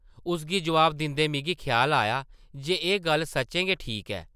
उसगी जवाब दिंदे मिगी ख्याल आया जे एह् गल्ल सच्चें गै ठीक ऐ ।